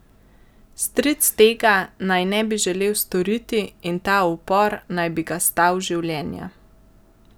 Stric tega naj ne bi želel storiti in ta upor naj bi ga stal življenja.